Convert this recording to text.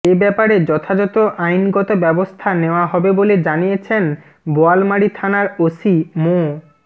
এ ব্যাপারে যথাযথ আইনগত ব্যবস্থা নেওয়া হবে বলে জানিয়েছেন বোয়ালমারী থানার ওসি মো